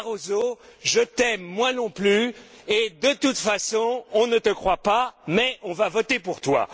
Barroso je t'aime, moi non plus, et, de toute façon, on ne te croit pas, mais on va voter pour toi.